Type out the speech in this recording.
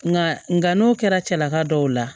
Nka nka n'o kɛra cɛlaka dɔw la